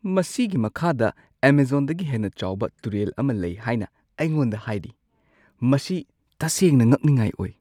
ꯃꯁꯤꯒꯤ ꯃꯈꯥꯗ ꯑꯦꯃꯥꯖꯣꯟꯗꯒꯤ ꯍꯦꯟꯅ ꯆꯥꯎꯕ ꯇꯨꯔꯦꯜ ꯑꯃ ꯂꯩ ꯍꯥꯏꯅ ꯑꯩꯉꯣꯟꯗ ꯍꯥꯏꯔꯤ ꯫ ꯃꯁꯤ ꯇꯁꯦꯡꯅ ꯉꯛꯅꯤꯡꯉꯥꯏ ꯑꯣꯏ!